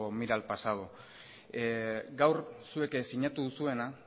mire al pasado gaur zuek sinatu duzuena